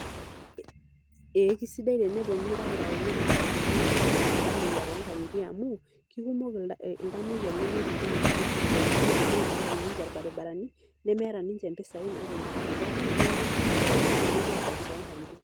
Ee kesidai teneponu ildakitarini aabaiki iltung'anak, iltamuoyia toonkang'itie amu kekumok iltamuoyia lemiidim aashomoita sipiatalini amu meeta ninche irbaribarani nemeeta ninche mpisaai naapoyie sipitali, neeku kesidai ake tenepuo aabaiki toonkang'itie.